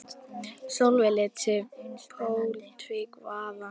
Sólveig lét sig pólitík varða.